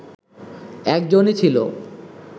একজনই ছিল